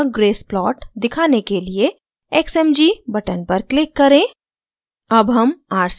triangular wave का grace plot दिखाने के लिए xmg button पर click करें